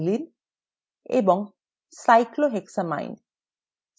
aniline এবং cyclohexylamine